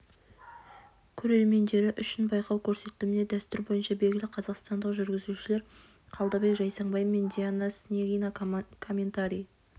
көрермендері үшін байқау көрсетіліміне дәстүр бойынша белгілі қазақстандық жүргізушілер қалдыбек жайсаңбай мен диана снегина комментарий